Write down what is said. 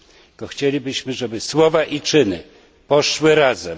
Tylko chcielibyśmy, żeby słowa i czyny poszły w parze.